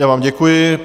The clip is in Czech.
Já vám děkuji.